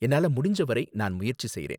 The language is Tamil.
என்னால முடிஞ்ச வரை நான் முயற்சி செய்றேன்.